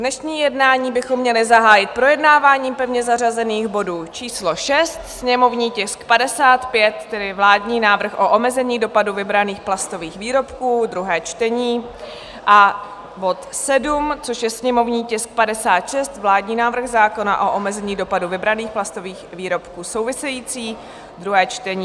Dnešní jednání bychom měli zahájit projednáváním pevně zařazených bodů číslo 6, sněmovní tisk 55, tedy vládní návrh o omezení dopadu vybraných plastových výrobků, druhé čtení, a bod 7, což je sněmovní tisk 56, vládní návrh zákona o omezení dopadu vybraných plastových výrobků související - druhé čtení.